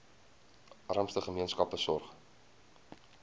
armste gemeenskappe sorg